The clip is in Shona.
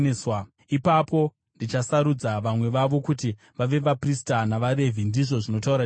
Ipapo ndichasarudza vamwe vavo kuti vave vaprista navaRevhi,” ndizvo zvinotaura Jehovha.